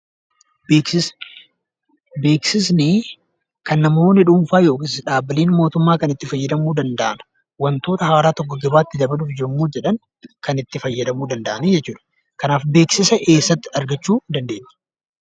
Beeksisa. Beeksisni kan namoonni dhuunfaa yookiin dhaabbileen mootummaa kan itti fayyadamuu danda'an wantoota haaraa tokko dabarsuuf yammuu jedhan kan itti fayyadamuu danda'anii jechuu dha. Kanaaf beeksisa eessatti argachuu dandeenya?